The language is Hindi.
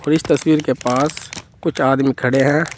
और इस तस्वीर के पास कुछ आदमी खड़े हैं।